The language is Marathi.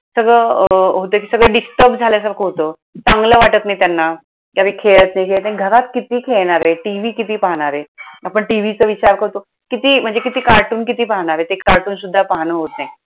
सगळं अं होतंय ते सगळं disturb झाल्यासारखं होतं, चांगलं वाटत नाही त्यांना. कधी खेळत नाही, घरात किती खेळणारे? TV किती पाहणारे? आपण टीव्हीचं विचार करतो. किती म्हणजे किती cartoon किती पाहणारेत? ते cartoon सुद्धा पाहणं होत नाय.